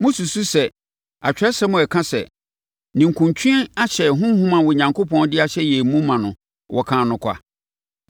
Mosusu sɛ Atwerɛsɛm a ɛka sɛ, “Ninkunutwe ahyɛ honhom a Onyankopɔn de ahyɛ yɛn mu no ma” no wɔkaa no kwa?